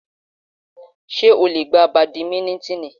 Ṣé ó lè gbá bàdímínítìnì?